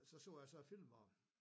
Og så så jeg så filmen om